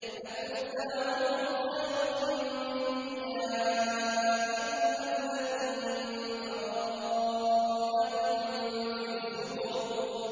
أَكُفَّارُكُمْ خَيْرٌ مِّنْ أُولَٰئِكُمْ أَمْ لَكُم بَرَاءَةٌ فِي الزُّبُرِ